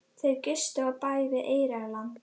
Þau gistu á bæ við Eyrarland.